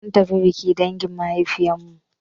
Mun tafi biki dangin mahaifin mu.